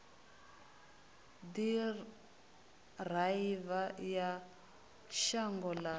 u ḓiraiva ya shango ḽa